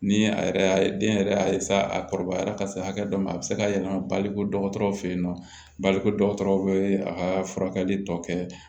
Ni a yɛrɛ den yɛrɛ y'a a kɔrɔbayara ka se hakɛ dɔ ma a bɛ se ka yɛlɛma bali dɔgɔtɔrɔw fɛ yen nɔ bali ko dɔgɔtɔrɔw bɛ a ka furakɛli tɔ kɛ